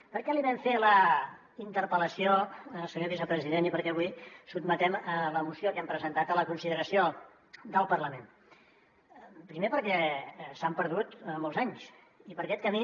per què li vam fer la interpel·lació senyor vicepresident i per què avui sotmetem la moció que hem presentat a la consideració del parlament primer perquè s’han perdut molts anys i per aquest camí